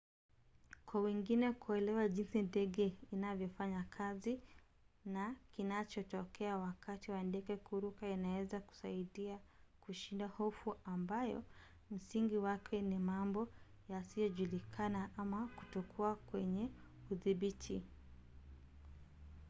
kwa wengine kuelewa jinsi ndege inavyofanya kazi na kinachotokea wakati wa ndege kuruka inaweza kusaidia kushinda hofu ambayo msingi wake ni mambo yasiyojulikana ama kutokuwa kwenye udhibiti